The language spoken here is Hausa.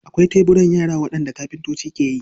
Akwai teburan yara waɗanda kafintoci ke yi.